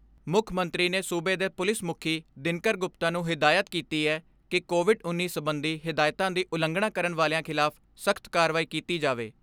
ਮੁੱਖ ਮੰਤਰੀ ਨੇ ਸੂਬੇ ਦੇ ਪੁਲਿਸ ਮੁੱਖੀ ਦਿਨਕਰ ਗੁਪਤਾ ਨੂੰ ਹਦਾਇਤ ਕੀਤੀ ਐ ਕਿ ਕੋਵਿਡ ਉੱਨੀ ਸਬੰਧੀ ਹਦਾਇਤਾਂ ਦੀ ਉਲੰਘਣਾ ਕਰਨ ਵਾਲਿਆਂ ਖਿਲਾਫ਼ ਸਖ਼ਤ ਕਾਰਵਾਈ ਕੀਤੀ ਜਾਵੇ।